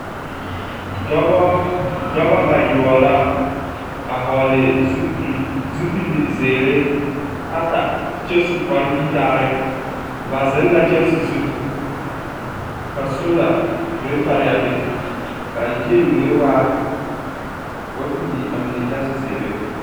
Dɔbɔ bayoɔbo la, a hɔɔle zupil… zupil doɔre ata. Ba zeŋ la kyɛnse zu, ka soola meŋ paraa be, kaa yie mine waa… ka ba pilaa mine kyɛnse zeere.